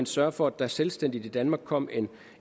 sørge for at der selvstændigt i danmark kom